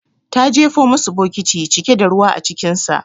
Ta jefo musu bokiti cike da ruwa acikinsa.